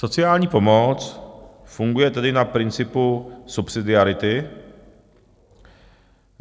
Sociální pomoc funguje tedy na principu subsidiarity.